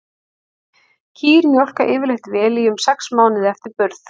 Kýr mjólka yfirleitt vel í um sex mánuði eftir burð.